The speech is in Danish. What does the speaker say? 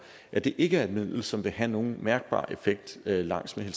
at det ikke er et middel som vil have nogen mærkbar effekt langs med